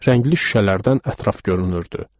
Rəngli şüşələrdən ətraf görünürdü.